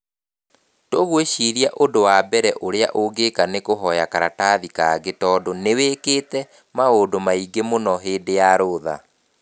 Tũgwĩciria ũndũ wa mbere ũrĩa ũngĩka nĩ kũhoya karatathi kangĩ tondũ nĩ wĩkĩte maũndũ maingĩ mũno hĩndĩ ya rũtha.